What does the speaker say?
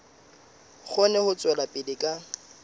kgone ho tswela pele ka